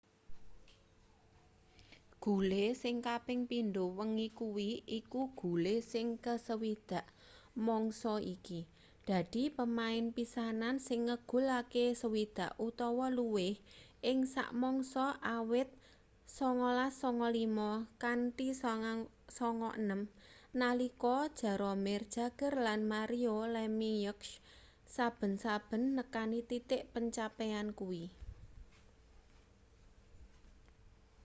gule sing kaping pindho wengi kuwi iku gule sing ke 60 mangsa iki dadi pemain pisanan sing ngegulake 60 utawa luwih ing sak mangsa awit 1995-96 nalika jaromir jagr lan mario lemieux saben-saben nekani titik pencapaian kuwi